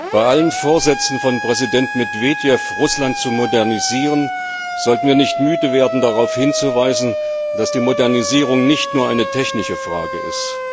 Bei allen Vorsätzen von Präsident Medwedew, Russland zu modernisieren, sollten wir nicht müde werden darauf hinzuweisen, dass die Modernisierung nicht nur eine technische Frage ist.